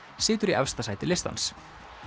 situr í efsta sæti listans